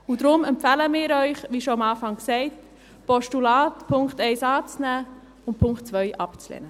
Deshalb empfehlen wir Ihnen, wie am Anfang schon gesagt, das Postulat in Punkt 1 anzunehmen und den Punkt 2 abzulehnen.